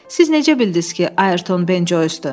“Siz necə bildiniz ki, Ayrton Ben Joysdur?”